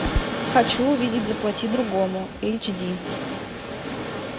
хочу увидеть заплати другому эйч ди